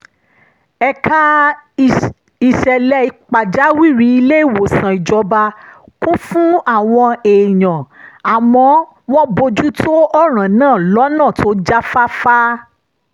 ẹ̀ka ìṣẹ̀lẹ̀ pàjáwìrì ilé-ìwòsàn ìjọba kún fún àwọn èèyàn àmọ́ wọ́n bójú tó ọ̀ràn náà lọ́nà tó jáfáfá